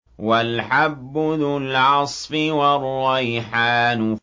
وَالْحَبُّ ذُو الْعَصْفِ وَالرَّيْحَانُ